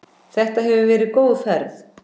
Þetta hefur verið góð ferð.